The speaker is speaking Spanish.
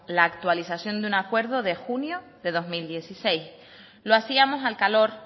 la actualización de un acuerdo de junio de dos mil dieciséis lo hacíamos al calor